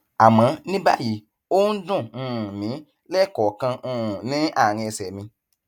àmọ ní báyìí ó ń dùn um mí lẹẹkọọkan um ní àárín ẹsẹ mi